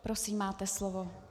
Prosím, máte slovo.